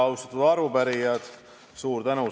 Väga austatud arupärijad!